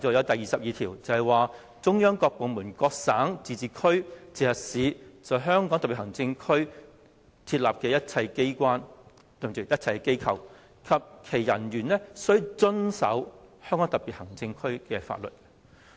第二十二條亦訂明，"中央各部門、各省、自治區、直轄市在香港特別行政區設立的一切機構及其人員均須遵守香港特別行政區的法律。